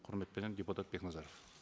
құрметпенен депутат бекназаров